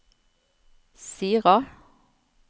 Sira